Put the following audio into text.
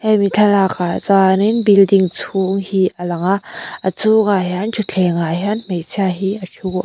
hemi thlalak ah chuanin building chhung hi alang a a chhungah hian thutthleng ah hian hmeichhia hi a thu a--